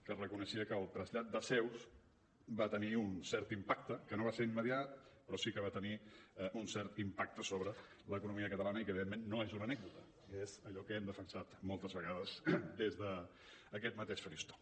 que reconeixia que el trasllat de seus va tenir un cert impacte que no va ser immediat però sí que va tenir un cert impacte sobre l’economia catalana i que evidentment no és una anècdota és allò que hem defensat moltes vegades des d’aquest mateix faristol